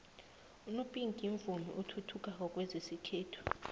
unopinku mvumi osathuthukako kwezesikhethu